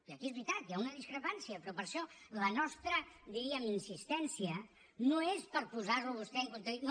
i aquí és veritat hi ha una discrepància però per això la nostra diríem insistència no és per posar lo a vostè en contradicció